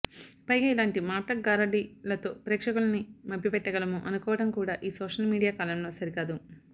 పైగా ఇలాంటి మాటల గారడీ లతో ప్రేక్షకులని మభ్యపెట్టగలము అనుకోవడం కూడా ఈ సోషల్ మీడియా కాలంలో సరికాదు